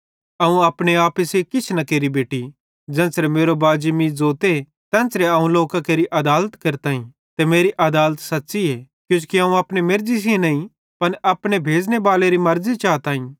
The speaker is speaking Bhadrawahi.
अवं अपने आपे सेइं किछ न केरि बेटि ज़ेन्च़रे मेरो बाजी मीं ज़ोते तेन्च़रे अवं लोकां केरि आदालत केरताईं ते मेरी आदालत सच़्च़ीए किजोकि अवं अपने मेर्ज़ी सेइं नईं पन अपने भेज़ने बालेरी मर्ज़ी सेइं चाताईं